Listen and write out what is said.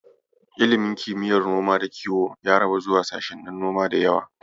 Ilimin kimiyyar noma da kiyo ya rabu zuwa sashennin noma da yawa.